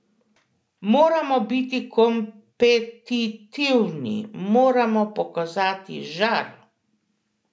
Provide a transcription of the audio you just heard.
Moramo biti kompetitivni, moramo pokazati žar.